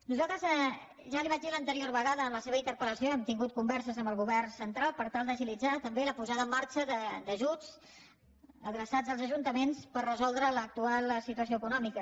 nosaltres ja li ho vaig dir l’anterior vegada en la seva interpel·lació hem tingut converses amb el govern central per tal d’agilitzar també la posada en marxa d’ajuts adreçats als ajuntaments per resoldre l’actual situació econòmica